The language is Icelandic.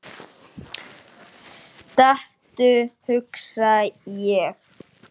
Stattu, hugsa ég.